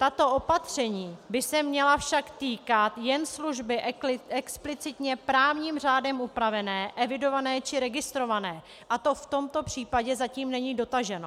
Tato opatření by se však měla týkat jen služby explicitně právním řádem upravené, evidované či registrované a to v tomto případě zatím není dotaženo.